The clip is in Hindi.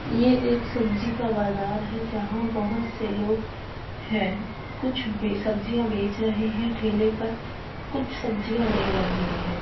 ये एक सब्ज़ी का बाजार है जहा बहुत से लोग हैंकुछ सब्ज़िया बेच रहे हैं ठेले पर कुछ सब्ज़ियां ले रहे हैं।